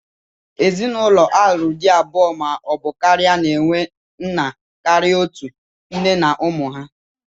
Ezinụlọ a lụrụ di abụọ ma ọ bụ karịa na-enwe nna karịa otú, nne na ụmụ ha.